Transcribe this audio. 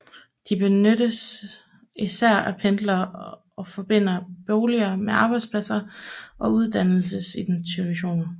De benyttes især af pendlere og forbinder boliger med arbejdspladser og uddannelsesinstitutioner